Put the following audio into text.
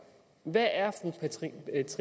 der er